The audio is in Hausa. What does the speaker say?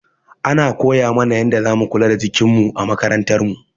Ana koya mana yanda za mu kula da jikin mu a makarantar mu.